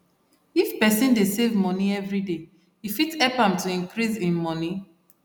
if person dey save money everyday e fit help am to increase hin money